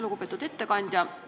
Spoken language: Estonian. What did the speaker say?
Lugupeetud ettekandja!